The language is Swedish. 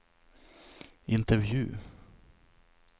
intervju